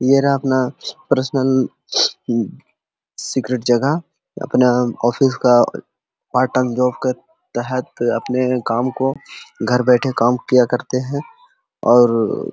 ये रहा अपना पर्सनल हम्म सीक्रेट जगह अपना ऑफिस का पार्ट टाइम जॉब के तहत अपने काम को घर बैठे काम किया करते है और --